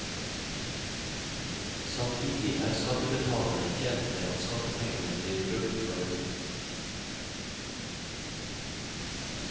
Samtidig er skattebetalerne tjent med at skattepengene blir brukt fornuftig.